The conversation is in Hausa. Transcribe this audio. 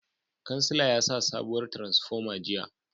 Kansila yasa sabuwar tiransifoma jiya